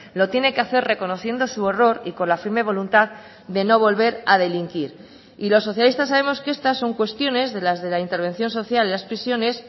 lo tiene que hacer reconociendo su error y con la firme voluntad de no volver a delinquir y los socialistas sabemos que estas son cuestiones de las de la intervención social y las prisiones